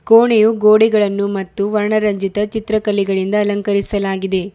ಓಣಿಯು ಗೋಡೆಗಳನ್ನು ಮತ್ತು ವರ್ಣ ರಂಜಿತ ಚಿತ್ರಕಲೆಗಳಿಂದ ಅಲಂಕರಿಸಲಾಗಿದೆ.